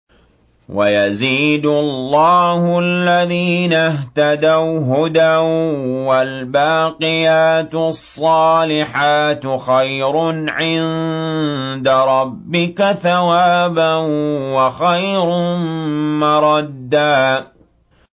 وَيَزِيدُ اللَّهُ الَّذِينَ اهْتَدَوْا هُدًى ۗ وَالْبَاقِيَاتُ الصَّالِحَاتُ خَيْرٌ عِندَ رَبِّكَ ثَوَابًا وَخَيْرٌ مَّرَدًّا